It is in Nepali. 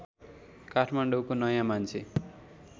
काठमाडौँको नयाँ मान्छे